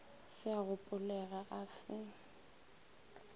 se a gopolega a fe